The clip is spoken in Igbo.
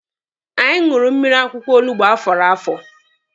Anyị ṅụrụ mmiri akwụkwọ olugbo afọrọ afọ.